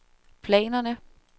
planerne